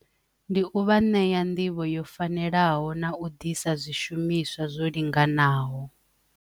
Ndi u vha ṋea nḓivho yo fanelaho na u ḓisa zwishumiswa zwo linganaho.